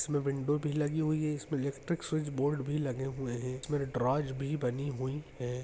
इसमें विन्डो भी लगी हुई है इसमें इलेक्ट्रिक स्विच बोर्ड भी लगे हुए हैं इसमें द्रोस भी बनी हुई हैं।